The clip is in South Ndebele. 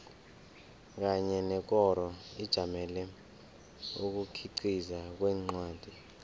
kanye nekoro ejamele ukukhiqiza kwencwadi